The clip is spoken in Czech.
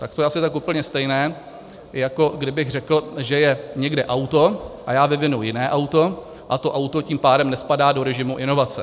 Tak to je asi tak úplně stejné, jako kdybych řekl, že je někde auto a já vyvinu jiné auto, a to auto tím pádem nespadá do režimu inovace.